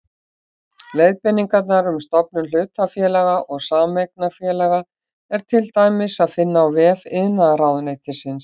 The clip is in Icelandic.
Leiðbeiningar um stofnun hlutafélaga og sameignarfélaga er til dæmis að finna á vef iðnaðarráðuneytisins.